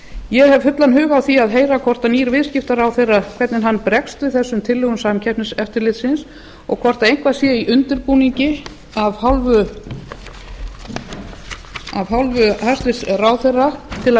ég hef fullan hug á því að heyra hvernig nýr viðskiptaráðherra bregst við þessum tillögum samkeppniseftirlitsins og hvort eitthvað sé í undirbúningi af hálfu hæstvirts ráðherra til að